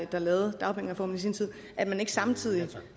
der lavede dagpengereformen sin tid at man ikke samtidig